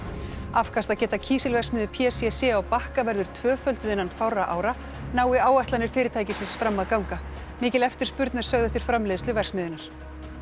afkastageta kísilverksmiðju p c c á Bakka verður tvöfölduð innan fárra ára nái áætlanir fyrirtækisins fram að ganga mikil eftirspurn er sögð eftir framleiðslu verksmiðjunnar